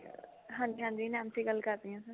ਹਾਂਜੀ ਹਾਂਜੀ ਨੈਨਸੀ ਗੱਲ ਕਰ ਰਹੀ ਆ sir